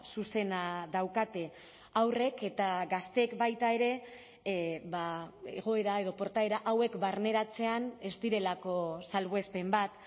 zuzena daukate haurrek eta gazteek baita ere egoera edo portaera hauek barneratzean ez direlako salbuespen bat